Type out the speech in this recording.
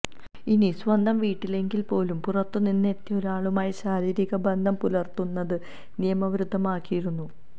ഇനി സ്വന്തം വീട്ടിലാണെങ്കില് പോലും പുറത്ത് നിന്നെത്തിയ ഒരാളുമായി ശാരീരിക ബന്ധം പുലര്ത്തുന്നത് നിയമവിരുദ്ധമാക്കിയിരുന്നു